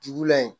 Dugu la yen